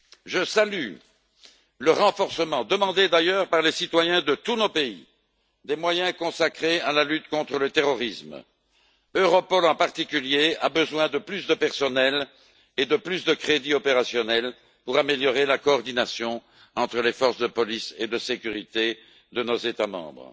Je salue le renforcement, demandé d'ailleurs par les citoyens de tous nos pays, des moyens consacrés à la lutte contre le terrorisme. Europol, en particulier, a besoin de plus de personnel et de plus de crédits opérationnels pour améliorer la coordination entre les forces de police et de sécurité de nos États membres.